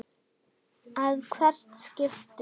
að hvert skipti.